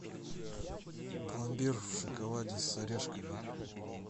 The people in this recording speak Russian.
пломбир в шоколаде с орешками